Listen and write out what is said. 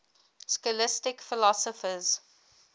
scholastic philosophers